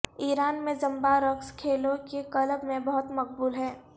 ایران میں زمبا رقص کھیلوں کے کلب میں بہت مقبول ہے